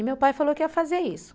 E meu pai falou que ia fazer isso.